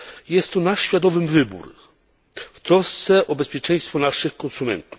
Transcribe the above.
Jest to nasz świadomy wybór w trosce o bezpieczeństwo naszych konsumentów.